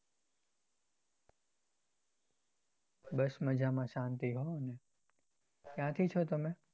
બસ મજા માં શાંતિ હો ક્યાંથી છો તમે?